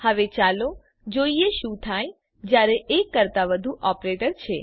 હવે ચાલો જોઈએ શું થાય જયારે એક કરતાં વધુ ઓપરેટર છે